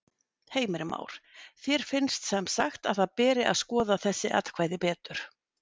Heimir Már: Þér finnst semsagt að það beri að skoða þessi atkvæði betur?